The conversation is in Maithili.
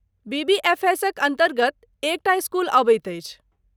बीबीएफएसक अन्तर्गत कएक टा स्कूल अबैत अछि?